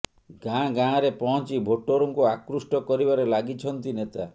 ଗାଁ ଗାଁରେ ପହଞ୍ଚି ଭୋଟରଙ୍କୁ ଆକୃଷ୍ଟ କରିବାରେ ଲାଗିଛନ୍ତି ନେତା